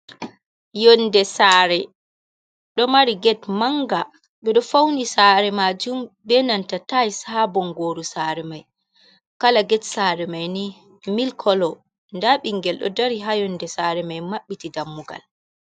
Yonde sare ɗo mari get manga ɓeɗo fauni sare majum be nanta tise ha bongoru sare mai, kala get sare mai ni mil kolo, nda ɓingel ɗo dari ha yonde sare mai mabbiti dammugal.